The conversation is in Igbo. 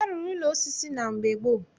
A rụrụ ụlọ osisi na mgbe gboo